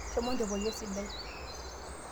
shomo inchopoyu esidai